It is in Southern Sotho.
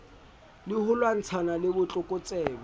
le ho lwantshana le botlokotsebe